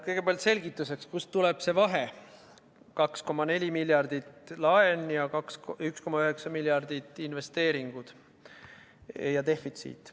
Kõigepealt selgituseks, kust tuleb see vahe: 2,4 miljardit laenu ning 1,9 miljardit investeeringuid ja defitsiiti.